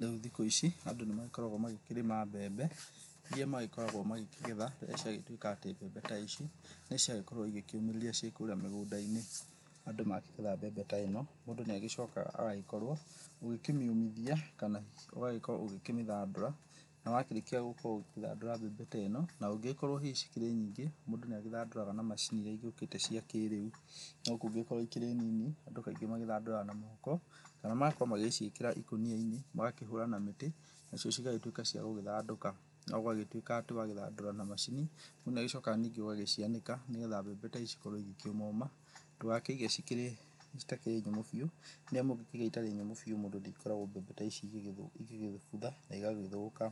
Rĩu thikũ ici andũ nĩ magĩkoragwo magĩkĩrĩma mbembe ĩria magĩkoragwo magĩkĩgetha rĩrĩa ciagĩtuĩka atĩ mbembe ta ici nĩ ciagĩkorwo ĩgĩkĩũmũrĩria cikũrĩa mĩgũnda-inĩ. Andũ makĩgetha mbembe ta ĩno, mũndũ nĩ agĩcokaga agagĩkorwo ũgĩkĩmĩũmithia kana ũgagĩkorwo ũgĩkĩmĩthandũra na wakĩrĩkia gũkorwo ũgĩgĩthandũra mbembe ta ĩno na ũngĩgĩkorwo hihi cikĩrĩ nyingĩ mũndũ nĩ agĩthandũraga na macini ĩria ĩgĩũkĩte cia kĩrĩu. No kũngĩgĩkorwo ĩkĩrĩ nini andũ kaingĩ mathandũraga na moko kana magakorwo magĩcĩikĩra ĩkũnia-inĩ magakĩhũra na mĩtĩ nacio cigagĩtuĩka cia gũgĩthandũka. No wagĩtuĩka atĩ wathandũra na macini mũndũ nĩ agĩcokaga ningĩ ũgacianĩka nĩgetha mbembe ta ici cikorwo cigĩkĩũmoma ndũgakĩige citakĩrĩ nyũmũ biũ nĩamu wakĩiga ĩtakĩrĩ nyũmũ biũ mũndũ nĩ akoraga mbembe ta ici ĩgĩgĩbutha na ĩgagĩthũka.